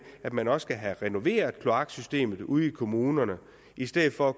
at man også skal have renoveret kloaksystemet ude i kommunerne i stedet for at